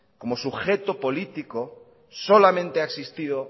como sujeto político solamente ha existido